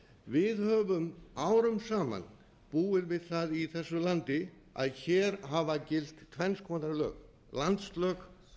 við höfum árum saman búið við það í þessu landi að hér hafa gilt tvenns konar lög landslög